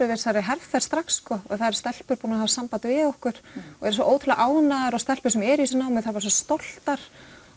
við þessari herferð strax það eru stelpur búnar að hafa samband við okkur og eru svo ótrúlega ánægðar og stelpur sem eru í þessu námi stoltar